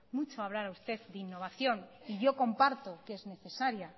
mucho hablar a usted de innovación yo comparto que es necesaria